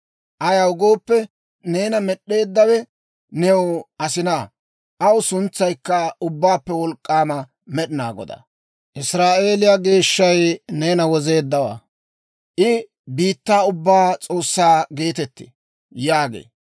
Ayaw gooppe, neena Med'd'eeddawe new asinaa; aw suntsaykka Ubbaappe Wolk'k'aama Med'inaa Godaa. Israa'eeliyaa Geeshshay neena Wozeeddawaa; I biittaa ubbaa S'oossaa geetettee» yaagee.